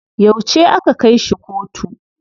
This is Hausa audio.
Yau aka kai shi kotu.